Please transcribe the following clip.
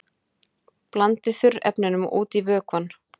Blandið þurrefnunum út í vökvann.